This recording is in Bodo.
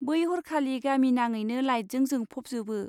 बै हरखालि गामिनाङैनो लाइटजों जोंफ'बजोबो।